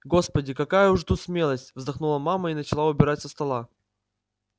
господи какая уж тут смелость вздохнула мама и начала убирать со стола